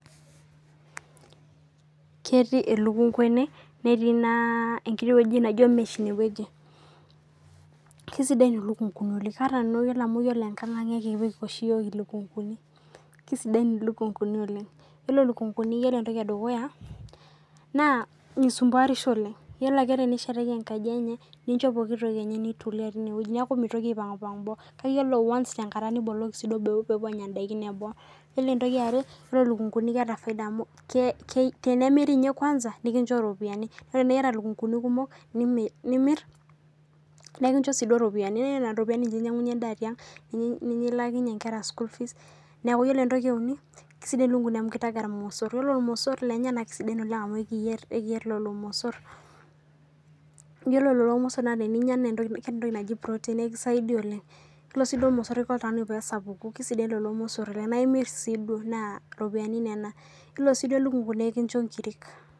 Ketii elukunga netii enkiti toki naijio mesh ine naa kanyor nanu elukunguni oleng ore amu ore nkang naa ekipik oshi iyiok elukunguni naa kisidain elukunguni amu ore entoki edukuya naa misumpuarisho oleng ore pee neshetaki enkaji enye ninjo endaa nitulia tinewueji neeku mitoki aipang boo kake ore once niboloki boo pee epuo Anya edaiki eboo ore entoki yare ore elukunguni naa keeta faida amu tenimiri nikinjo ropiani neeku tenaa eyata elukunguni kumok nimir nekinjo eropiani neeku Nena ropiani enyiangunye nedaa tiang ninche elakinyie enkera school fees ore entoki euni naa kisidai elukunguni amu kitaga irmosor ore irmosor lenye naa kisidain oleng amu ekiyier lelo mosor lore lelo mosor teninyia naa keeta entoki najii proteins ore sii lelo mosor kisho oltung'ani pee esapuku ore lelo mosor naa emir sii nikinjo ropiani ore sii elukungu naa ekinjo enkiri